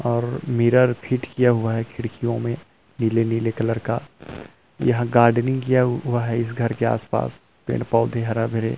और mirror fit किया हुआ है खिड़कियों में नीले नीले कलर का यहाँ गार्डिंग किया हुआ है इस घर के पास पेड़-पौधे हरा-भरे--